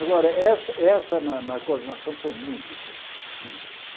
Agora, essa essa na na coordenação foi muito interessante, muito interessante.